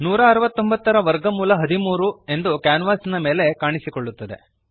169 13 169 ರ ವರ್ಗಮೂಲ 13 ಕ್ಯಾನ್ವಾಸಿನ ಮೇಲೆ ಕಾಣಿಸುತ್ತದೆ